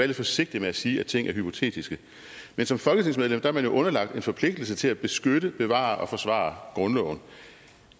lidt forsigtig med at sige at ting er hypotetiske men som folketingsmedlem er man jo underlagt en forpligtelse til at beskytte bevare og forsvare grundloven